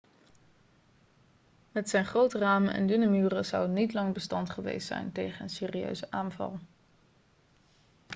met zijn grote ramen en dunne muren zou het niet lang bestand geweest zijn tegen een serieuze aanval